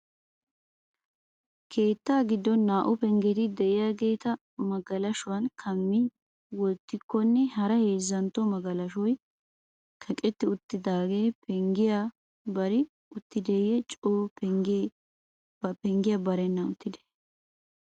Keetta giddon naa"u penggeti de'iyageeta magalashuwan kammi wottikkonne hara heezzantto magalashoy kaqetti uttidaagee penggiya bari uttideeyye coo penggiya barennan uttidee?